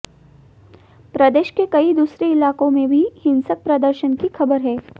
प्रदेश के कई दूसरे इलाकों में भी हिंसक प्रदर्शन की खबर है